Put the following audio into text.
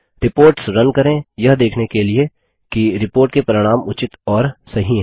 reports run करें यह देखने के लिएकि रिपोर्ट के परिणाम उचित और सही हैं